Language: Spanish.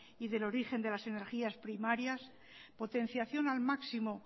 y del origen de las energías primarias potenciación al máximo